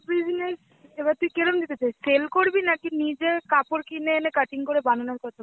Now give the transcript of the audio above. business, এবার তুই কেরম দিতে চাস? sell করবি নাকি নিজে কাপড় কিনে এনে cutting করে বানানোর কথা